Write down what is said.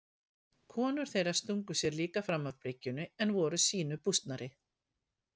Konur þeirra stungu sér líka fram af bryggjunni en voru sýnu bústnari.